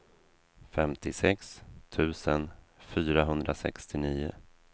femtiosex tusen fyrahundrasextionio